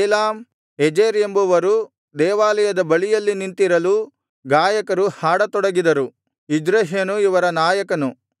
Elam Ezer ಎಂಬುವರು ದೇವಾಲಯದ ಬಳಿಯಲ್ಲಿ ನಿಂತಿರಲು ಗಾಯಕರು ಹಾಡತೊಡಗಿದರು ಇಜ್ರಹ್ಯನು ಇವರ ನಾಯಕನು